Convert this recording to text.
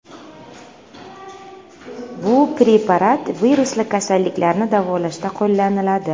Bu preparat virusli kasalliklarni davolashda qo‘llaniladi.